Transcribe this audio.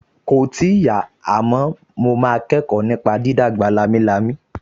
Kòì tíì yá, àmọ́ mo kẹ́kọ̀ọ́ nípa dídàgbà lámilámi